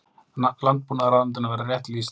Landbúnaðarráðuneytinu verið rétt lýst.